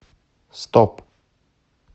стоп